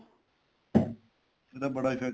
ਇਹਦਾ ਬੜਾ effect